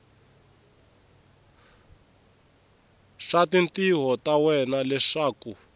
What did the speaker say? swa tintiho ta wena leswaku